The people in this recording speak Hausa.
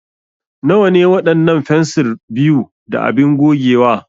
Nawa ne waɗannan fensir 2 da abin gogewa?